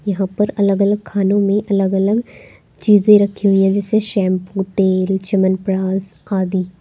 यहां पर अलग अलग खानों में अलग अलग चीजें रखी हुई है जैसे शैंपू तेल च्यवनप्राश आदि।